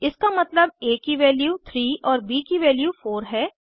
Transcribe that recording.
इसका मतलब आ की वैल्यू 3 और ब की वैल्यू 4 है